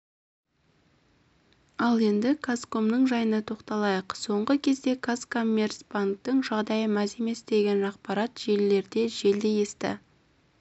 ал енді казкомның жайына тоқталайық соңғы кезде казкоммерцбанктің жағдайы мәз емес деген ақпарат желілерде желдей есті